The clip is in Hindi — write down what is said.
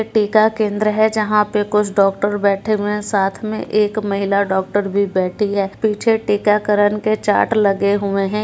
टिका केंद्र है जहाँ पे कुछ डॉक्टर बैठे हुए हैं साथ में एक महिला डॉक्टर भी बैठी है पीछे टीकाकरण के चार्ट लगे हुए हैं।